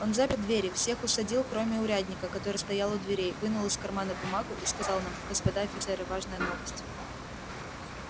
он запер двери всех усадил кроме урядника который стоял у дверей вынул из кармана бумагу и сказал нам господа офицеры важная новость